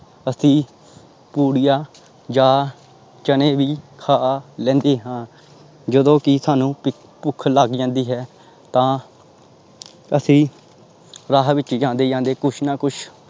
ਅਸੀਂ ਪੂੜੀਆਂ ਜਾਂ ਚਣੇ ਵੀ ਖਾ ਲੈਂਦੇ ਹਾਂ ਜਦੋਂ ਕਿ ਸਾਨੂੰ ਭ ਭੁੱਖ ਲੱਗ ਜਾਂਦੀ ਹੈ ਤਾਂ ਅਸੀਂ ਰਾਹ ਵਿੱਚ ਜਾਂਦੇ ਜਾਂਦੇ ਕੁਛ ਨਾ ਕੁਛ